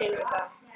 til við það.